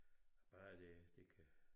Bare det det kan